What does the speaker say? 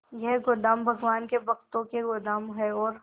ये गोदाम भगवान के भक्तों के गोदाम है और